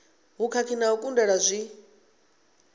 vhukhakhi na u kundelwa zwi